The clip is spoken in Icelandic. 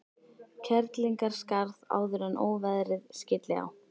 Kerlingarskarð áður en óveðrið skylli á.